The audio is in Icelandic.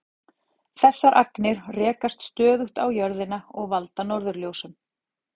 Þessar agnir rekast stöðugt á jörðina og valda norðurljósum.